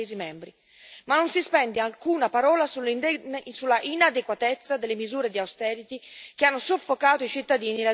Ma non si spende alcuna parola sull'inadeguatezza delle misure di austerity che hanno soffocato i cittadini e le aziende europee.